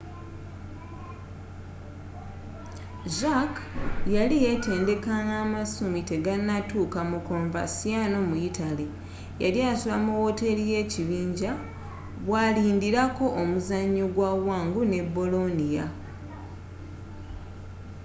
jarque yali yeetendeka nga amasumi tegannatuuka mu coverciano mu yitale yali asula mu woteri y'ekibinja bwalindirako omuzanyo gwa wangu ne bolonia